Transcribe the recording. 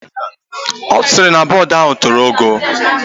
Osiri na board ahụ tolo ogoo.